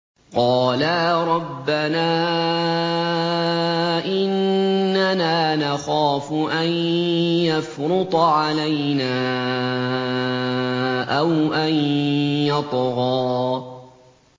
قَالَا رَبَّنَا إِنَّنَا نَخَافُ أَن يَفْرُطَ عَلَيْنَا أَوْ أَن يَطْغَىٰ